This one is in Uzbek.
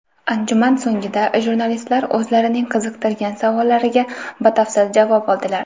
Anjuman so‘nggida jurnalistlar o‘zlarining qiziqtirgan savollariga batafsil javob oldilar.